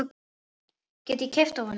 Get ég keypt af honum?